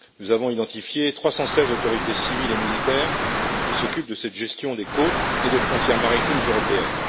Nous avons identifié 316 autorités civiles et militaires qui s'occupent de cette gestion des côtes et des frontières maritimes européennes.